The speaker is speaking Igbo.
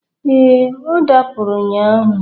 Ee, ọ dapụrụ ụnyaahụ.